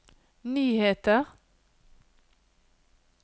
nyheter